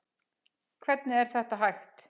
Hvernig er þetta hægt?